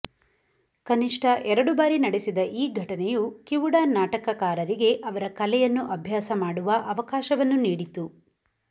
ಕನಿಷ್ಠ ಎರಡು ಬಾರಿ ನಡೆಸಿದ ಈ ಘಟನೆಯು ಕಿವುಡ ನಾಟಕಕಾರರಿಗೆ ಅವರ ಕಲೆಯನ್ನು ಅಭ್ಯಾಸ ಮಾಡುವ ಅವಕಾಶವನ್ನು ನೀಡಿತು